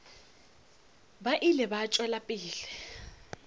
ba ile ba tšwela pele